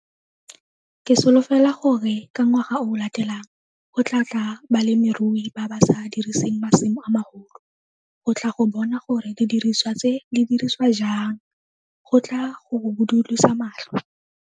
Ke solofela gore ka ngwaga o o latelang go tlaa tla balemirui ba ba sa diriseng masimo a magolo go tla go bona gore didiriswa tse di dirisiwa jang go tlaa go budulosa matlho.